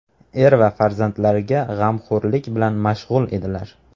er va farzandlarga g‘amxo‘rlik bilan mashg‘ul edilar.